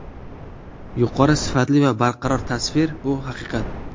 Yuqori sifatli va barqaror tasvir bu haqiqat!